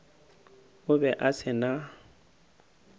o be a se na